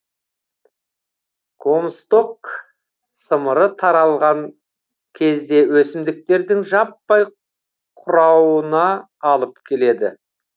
комсток сымыры таралған кезде өсімдіктердің жаппай қурауына алып келеді